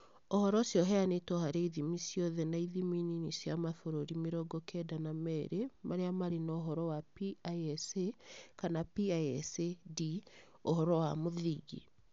Ũhoro ũcio ũheanĩtwo harĩ ithimi ciothe na ithimi nini cia mabũrũri mĩrongo kenda na meerĩ marĩa marĩ na ũhoro wa PISA kana PISA-D (Ũhoro wa mũthingi).